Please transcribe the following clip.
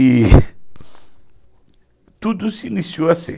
E tudo se iniciou assim.